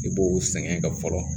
I b'o sɛgɛn ka fɔlɔ